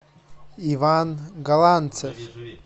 иван галанцев